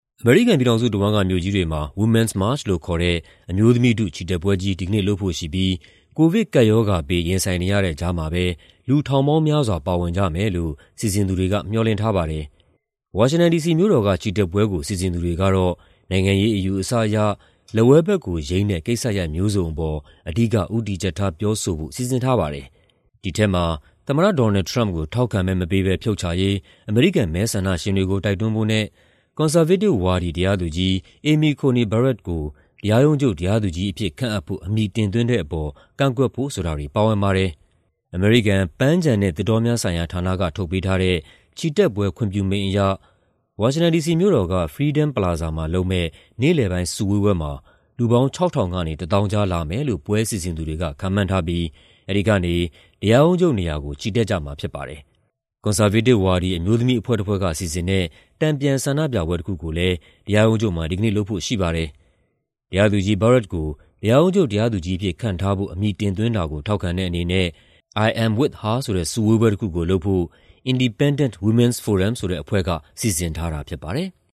အမေရိကန်ပြည်ထောင်စုတဝန်းက မြို့ကြီးတွေမှာ Women's March လို့ခေါ်တဲ့ အမျိုးသမီးထု ချီတက်ပွဲကြီး ဒီကနေ့လုပ်ဖို့ရှိပြီး ကိုဗစ်ကပ်ရောဂါဘေး ရင်ဆိုင်နေရတဲ့ ကြားမှာပဲ လူထောင်ပေါင်းများစွာ ပါဝင်ကြမယ်လို့ စီစဉ်သူတွေက မျှော်လင့်ထားပါတယ်။ ဝါရှင်တန်ဒီစီမြို့တော်က ချီတက်ပွဲကို စီစဉ်သူတွေကတော့ နိုင်ငံရေးအယူအဆအရ လက်ဝဲဘက်ကိုယိမ်းတဲ့ ကိစ္စရပ်မျိုးစုံအပေါ် အဓိက ဦးတည်ချက်ထား ပြောဆိုဖို့ စီစဉ်ထားပါတယ်။ ဒီထဲမှာ သမ္မတ Donald Trump ကို ထောက်ခံမဲမပေးဘဲ ဖြုတ်ချရေး အမေရိကန် မဲဆန္ဒရှင်တွေကို တိုက်တွန်းဖို့နဲ့ ကွန်ဆာဗေးတစ်ဝါဒီ တရားသူကြီး Amy Coney Barrett ကို တရားရုံးချုပ် တရားသူကြီးအဖြစ်ခန့်ဖို့ အမည်တင်သွင်းတဲ့အပေါ် ကန့်ကွက်ဖို့ ဆိုတာတွေ ပါဝင်ပါတယ်။ အမေရိကန် ပန်းခြံနဲ့ သစ်တောများဆိုင်ရာဌာနက ထုတ်ပေးထားတဲ့ ချီတက်ပွဲ ခွင့်ပြုမိန့်အရ ဝါရှင်တန်ဒီစီမြို့တော်က Freedom Plaza မှာလုပ်မယ့် နေ့လယ်ပိုင်း စုဝေးပွဲမှာ လူပေါင်း ၆,၀၀၀ ကနေ ၁၀,၀၀၀ ကြားလာမယ်လို့ ပွဲစီစဉ်သူတွေက ခန့်မှန်းထားပြီး အဲဒီကနေ တရားရုံးချုပ်နေရာကို ချီတက်ကြမှာ ဖြစ်ပါတယ်။ ကွန်ဆာဗေးတစ်ဝါဒီ အမျိုးသမီးအဖွဲ့တဖွဲ့က စီစဉ်တဲ့ တန်ပြန်ဆန္ဒပြပွဲတခုကိုလည်း တရားရုံးချုပ်မှာ ဒီကနေ့ လုပ်ဖို့ရှိပါတယ်။ တရားသူကြီး Barrett ကို တရားရုံးချုပ် တရားသူကြီးအဖြစ် ခန့်ထားဖို့ အမည်တင်သွင်းတာကို ထောက်ခံတဲ့အနေနဲ့ "I'm With Her" ဆိုတဲ့ စုဝေးပွဲတခုကိုလုပ်ဖို့ Indepdendent Women's Forum ဆိုတဲ့အဖွဲ့က စီစဉ်ထားတာ ဖြစ်ပါတယ်။